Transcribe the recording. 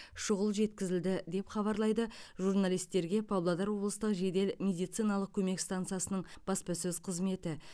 шұғыл жеткізілді деп хабарлады журналистерге павлодар облыстық жедел медициналық көмек стансасының баспасөз қызметі